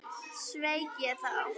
Sveik ég þá?